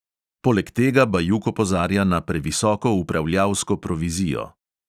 Poleg tega bajuk opozarja na previsoko upravljalsko provizijo.